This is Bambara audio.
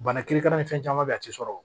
Bana kirikara ni fɛn caman bɛ yen a tɛ sɔrɔ